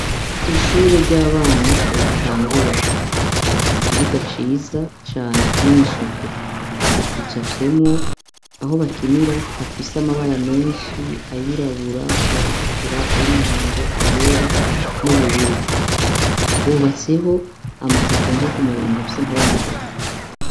Ko ishure ry'abana bagitangura bafitse ikibuga ciza cane kirimwo isuku gica fyemwo aho bakinira hafise amabara menshi ayirabura ayatukura ayo umuhondo ayera n'ubururu hubatseho amaze atonziyo ku muronga afise amabara ayera.